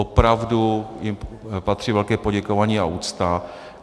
Opravdu jim patří velké poděkování a úcta.